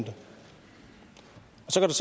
sort